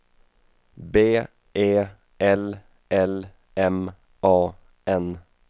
B E L L M A N